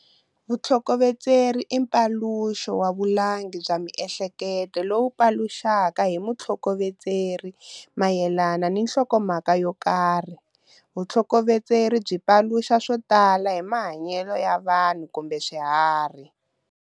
Vutlhokovetseri i mphofulo wa vulangi bya miehleketo lowu paluxaka hi mutlhokovetseri mayelana ni nhlokomhaka yo karhi. Vutlhokovetseri byi paluxa swo tala hi mahanyelo ya vanhu kumbe swiharhi.